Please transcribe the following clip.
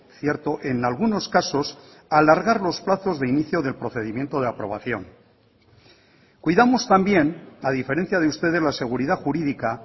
cierto en algunos casos alargar los plazos de inicio del procedimiento de aprobación cuidamos también a diferencia de ustedes la seguridad jurídica